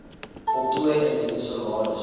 voltooi indien salaris